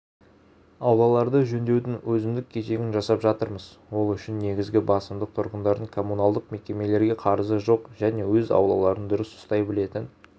аулаларды жөндеудің өзіндік кезегін жасап жатырмыз ол үшін негізгі басымдық тұрғындардың коммуналдық мекемелерге қарызы жоқ және өз аулаларын дұрыс ұстай білетін